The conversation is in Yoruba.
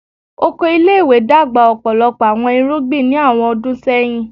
Oko ile-iwe dagba ọpọlọpọ awọn irugbin ni awọn ọdun sẹhin